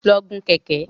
Lọ gun Kẹ̀kẹ́!